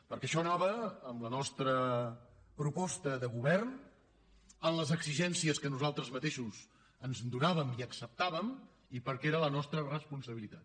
perquè això anava en la nostra proposta de govern en les exigències que nosaltres mateixos ens donàvem i acceptàvem i perquè era la nostra responsabilitat